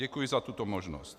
Děkuji za tuto možnost.